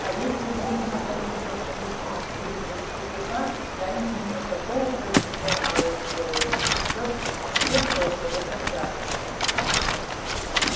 а если будет находиться в моих чутких дружеских руках я из него такого профессионала сделаю всё все просто закачаются